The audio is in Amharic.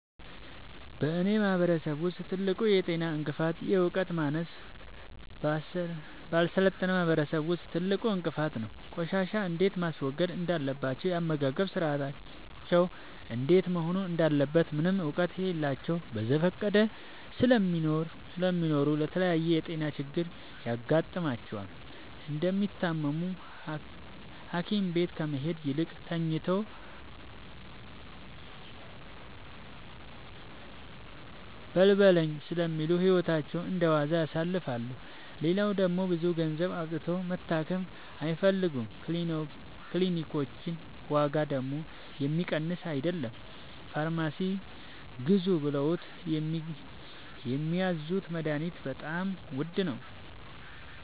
በእኔ ማህበረሰብ ውስጥ ትልቁ የጤና እንቅፍት የዕውቀት ማነስ በአልሰለጠነ ማህበረሰብ ውስጥ ትልቁ እንቅፋት ነው። ቆሻሻ እንዴት ማስወገድ እንዳለባቸው የአመጋገብ ስርአታቸው እንዴት መሆን እንዳለበት ምንም እውቀት የላቸውም በዘፈቀደ ስለሚኖሩ ለተለያየ የጤና ችግር ይጋረጥባቸዋል። እንደታመሙም ሀኪቤት ከመሄድ ይልቅ ተኝተው በልበለኝ ስለሚሉ ህይወታቸው እንደዋዛ ያልፋል። ሌላው ደግሞ ብዙ ገንዘብ አውጥተው መታከም አይፈልጉም ክኒልኮች ዋጋደግሞ የሚቀመስ አይለም። ከፋርማሲ ግዙ ብለውት የሚያዙት መደሀኒትም በጣም ውድ ነው።